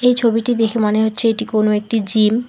এই ছবিটি দেখে মনে হচ্ছে এটি কোন একটি জিম ।